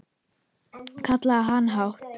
kallaði hann hátt.